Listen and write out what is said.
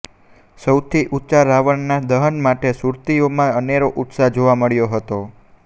સૌથી ઊંચા રાવણના દહન માટે સુરતીઓમાં અનેરો ઉત્સાહ જોવા મળ્યો હતો